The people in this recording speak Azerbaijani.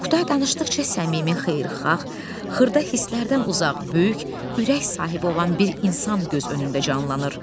Oktay danışdıqca səmimi, xeyirxah, xırda hisslərdən uzaq, böyük ürək sahibi olan bir insan göz önündə canlanır.